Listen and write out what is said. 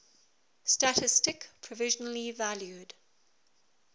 statistik provisionally valued